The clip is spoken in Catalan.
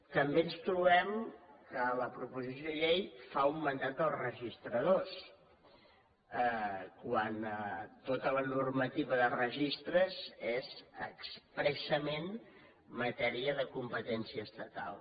també ens trobem que la proposició de llei fa un mandat als registradors quan tota la normativa de registres és expressament matèria de competència estatal